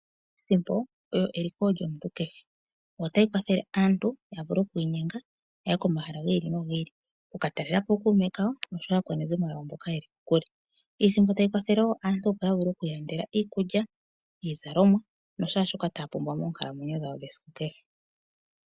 Iisimpo oyo eliko lyomuntu kehe otayi kwathele aantu yavule okwiinyenga yaye komahala gi ili nogi ili okuka talelapo ookuume kawo noshowo aakwanezimo yawo mboka yeli kokule. Iisimpo ohayi kwathele wo aantu opo yavule okwiilandela iikulya, iizalomwa noshaashoka taya pumbwa moonkalamwenyo dhawo dhesiku kehe.